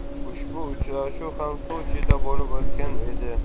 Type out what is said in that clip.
Ushbu uchrashuv ham Sochida bo‘lib o‘tgan edi.